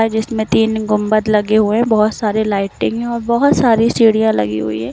जिसमें तीन गुंबद लगे हुए बहुत सारे लाइटिंग है और बहुत सारी चिड़िया लगी हुई है।